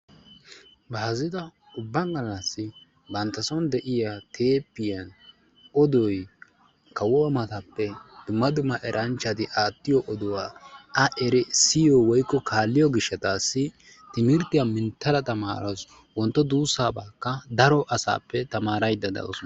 Baazzita ubba gallassi bantta sooni de'iyaa teeppee kawuwa matappe dumma dumma eranchchati aattiyo oduwa a erissiyo woykko kaaliyo gishshataasi timirttiya minttada tamarawussu wontto duussabaakka daro asaappe tamaaraydda dawusu.